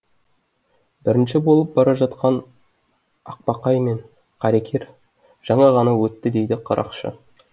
бірінші болып бара жатқан ақбақай мен қаракер жаңа ғана өтті дейді қарақшы